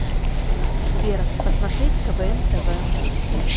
сбер посмотреть квн тв